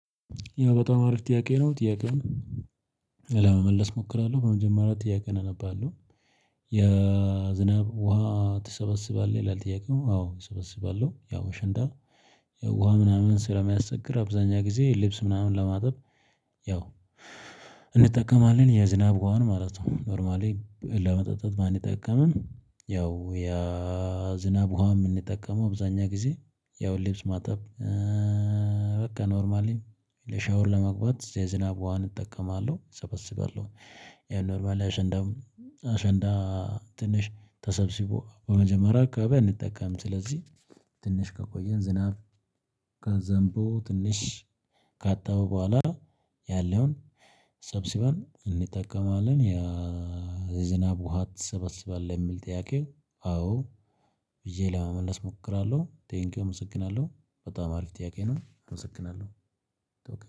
ያው በጣም አሪፍ ጥያቄ ነው ጥያቄውን ለመመለስ እሞክራለሁ በመጀመሪያ ጥያቄን እነባለሁ የዝናብ ውሃ ትሰበስባለህ ይላል? ጥያቄው አዎ እሰበስባለሁ። ያው ሽንዳ ውሃ ምናምን ስለሚያስቸግር አብዛኛ ጊዜ ልብስ ምናምን ለማጠብ። ያው እንጠቀማለን የዝናብ ውሃን ማለት ነው። ኖርማሊ ለመጠጣት ባንጠቀምም ያው ያ ዝናብ ውሃ የምንጠቀመው አበዛኛ ጊዜ ያው ልብስ ማጠብ። በቃ ኖርማሊ ለሻወር ለመግባት የዝናብ ውሃን እጠቀማለሁ እሰበስባለሁ። ይሄ ኖርማል የሸንዳ አሸንዳ ትንሽ ተሰብስቦ በመጀመሪያ አካባቢ አንጠቀምም ስለዚህ። ትንሽ ከቆየን ዝናብ ከዘንቦ ትንሽ ካጣሁ በኋላ ያለውን ሰብስበን እንጠቀማለን። ያ ዝናብ ውሃ ትሰበስባለህ የሚል ጥያቄው? አዎ ብዬ ለመመለስ እሞክራለሁ። ቴንኪው አመሰግናለሁ በጣም አሪፍ ጥያቄ ነው አመሰግናለሁ።